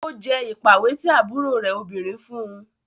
O jẹ ipàwé ti àbúrò rẹ òbinrín fún.